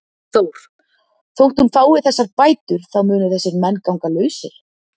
Þór: Þótt hún fái þessar bætur þá munu þessir menn ganga lausir?